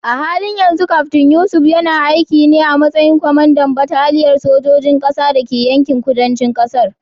A halin yanzu Kaftin Yusuf yana aiki ne a matsayin kwamandan bataliyar sojojin ƙasa da ke yankin kudancin ƙasar.